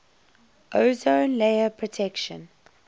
ozone layer protection